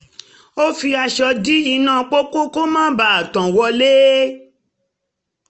ó fi aṣọ dì iná pópó kó má tàn wọlé